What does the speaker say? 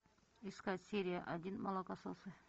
искать серия один молокососы